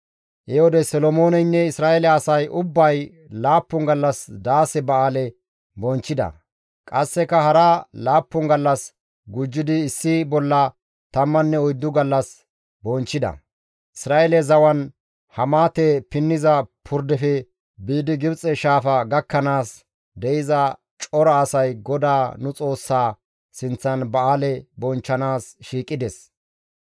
He wode Solomooneynne Isra7eele asay ubbay laappun gallas Daase Ba7aale bonchchida; qasseka hara laappun gallas gujjidi issi bolla tamman oyddu gallas bonchchida; Isra7eele zawan Hamaate pinniza purdefe biidi Gibxe Shaafa gakkanaas de7iza cora asay GODAA nu Xoossaa sinththan ba7aale bonchchanaas shiiqides.